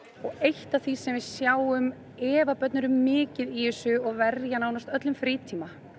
eitt af því sem við sjáum ef börn eru mikið í þessu og verja nánast öllum frítíma